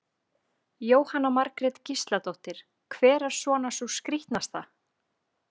Jóhanna Margrét Gísladóttir: Hver er svona sú skrítnasta?